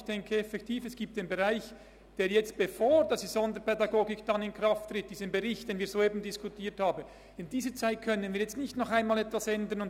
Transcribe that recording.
Ich denke tatsächlich, dass wir in der Zeit, bevor die Sonderpädagogik gemäss dem soeben diskutierten Bericht in Kraft tritt, nicht nochmals etwas ändern können.